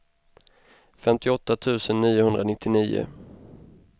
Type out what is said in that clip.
femtioåtta tusen niohundranittionio